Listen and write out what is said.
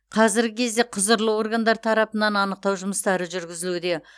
қазіргі кезде құзырлы органдар тарапынан анықтау жұмыстары жүргізілуде